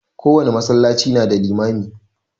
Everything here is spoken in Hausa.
Kowane masallaci na da limami.